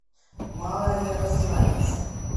малоярославец